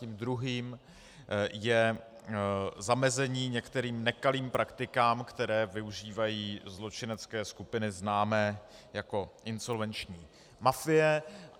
Tím druhým je zamezení některým nekalým praktikám, které využívají zločinecké skupiny známé jako insolvenční mafie.